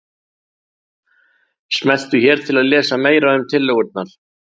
Smelltu hér til að lesa meira um tillögurnar